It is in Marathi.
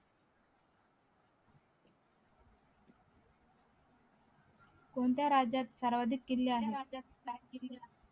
कोणत्या राज्यात सर्वाधिक किल्ले आहेत